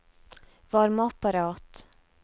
varmeapparat